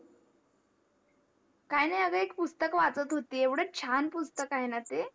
काही नाही अग एक पुस्तक वाचत होती एवढ छान पुस्तक आहे न ते